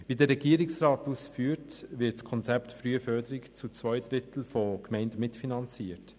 Wie der Regierungsrat ausführt, wird das Konzept Frühförderung zu zwei Dritteln von den Gemeinden mitfinanziert.